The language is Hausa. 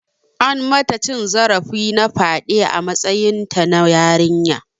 An mata cin zarafi na faɗe a matsayinta na yarinya.